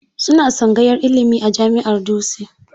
Suna tsangayar ilimi a Jami'ar Dutse.